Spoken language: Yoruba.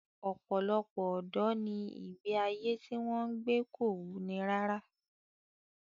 Ọ̀pọ̀lọpọ̀ ọ̀dọ́ ni ìgbé ayé tí wọ́n ń gbé kò wuni rárá